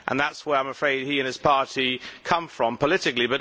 That is where, I am afraid, he and his party come from politically.